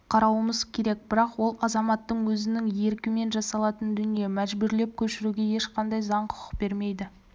қарауымыз керек бірақ ол азаматтың өзінің еркімен жасалатын дүние мәжбүрлеп көшіруге ешқандай заң құқық бермейді